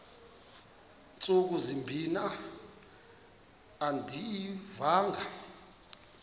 ntsuku zimbin andiyivanga